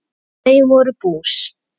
Þau voru bús.